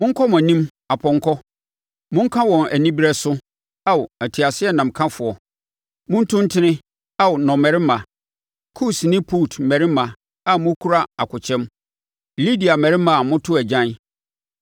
Monkɔ mo anim, apɔnkɔ! Monka wɔn anibereɛ so, Ao teaseɛnamkafoɔ! Montu ntene, Ao nnɔmmarima, Kus ne Put mmarimma a mokura akokyɛm, Lidia mmarima a moto agyan.